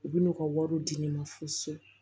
U bɛ n'u ka wariw di ne ma fo so